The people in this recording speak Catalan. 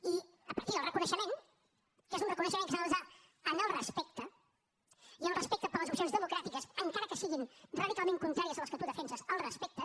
i a partir del reconeixement que és un reconeixement que s’ha de basar en el respecte i el respecte per les opcions democràtiques encara que siguin radicalment contràries a les que tu defenses el respecte